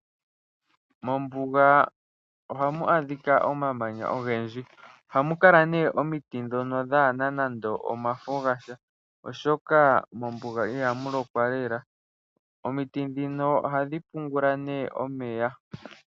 Mombuga oha mu adhika omamanya ogendji. Oha mu kala nee omiti dhono dhaana nande omafo gasha, oshoka mombuga iha mu lokwa lela. Omiti dhino oha dhi pungula nee omeya.